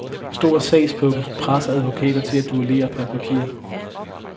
Stor sagspukkel presser advokater til at duellere per papir.